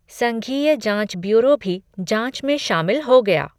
संघीय जाँच ब्यूरो भी जाँच में शामिल हो गया।